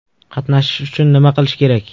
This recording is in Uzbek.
Qatnashish uchun nima qilish kerak?